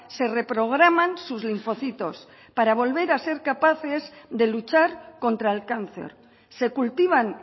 se reprograman sus linfocitos para volver a ser capaces de luchar contra el cáncer se cultivan